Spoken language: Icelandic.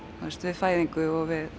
þú veist við fæðingu